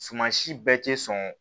Suman si bɛɛ tɛ sɔn